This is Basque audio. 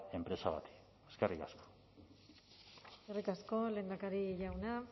enpresa bati eskerrik asko eskerrik asko lehendakari jauna